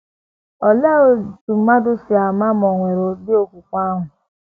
Olee otú mmadụ sị ama ma ò nwere ụdị okwukwe ahụ?